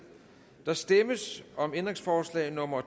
der stemmes om ændringsforslag nummer